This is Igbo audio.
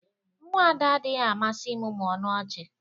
Nwa Ada adịghị amasị ịmụmụ ọnụ ọchị.